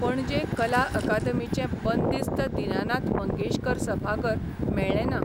पणजे कला अकादमीचें बंदिस्त दिनानाथ मंगेशकार सभाघर मेळ्ळेंना.